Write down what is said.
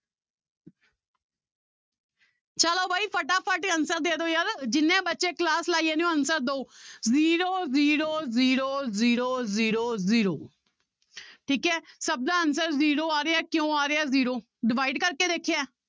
ਚਲੋ ਬਾਈ ਫਟਾਫਟ ਇਹ answer ਦੇ ਦਿਓ ਯਾਰ ਜਿੰਨੇ ਬੱਚੇ class ਲਾਈ ਜਾਂਦੇ ਹੋ answer ਦਓ zero zero zero zero zero zero ਠੀਕ ਹੈ ਸਭ ਦਾ answer zero ਆ ਰਿਹਾ ਹੈ ਕਿਉਂ ਆ ਰਿਹਾ zero divide ਕਰਕੇ ਦੇਖਿਆ ਹੈ।